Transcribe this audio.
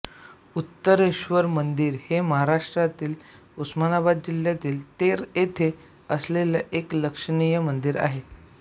उत्तरेश्वर मंदिर हे महाराष्ट्रातल्या उस्मानाबाद जिल्ह्यातील तेर येथे असलेले एक लक्षणीय मंदिर आहे